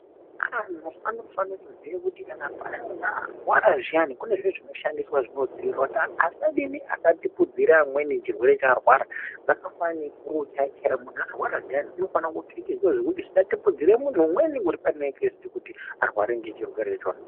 Antu anofanire kuziya kuti kana paya muntu arwara zviyani pane zviro zvinoshandiswa zvinodziirira kuti asadini asatapudzira amweni chirwere chaarwara, zvakafanana nefuru chaiyo chaiyo muntu arwara zviyani unofane kupfekedzwa zvekuti zvisatapudzire muntu umweni uri panekesiti kuti arware ngechirwere ichona.